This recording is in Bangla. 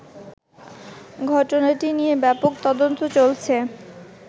ঘটনাটি নিয়ে ব্যাপক তদন্ত চলছে